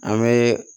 An bɛ